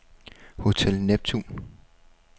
Hotel Neptun